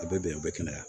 A bɛ bɛn a bɛ kɛnɛya